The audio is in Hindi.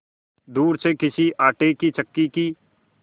दूर से किसी आटे की चक्की की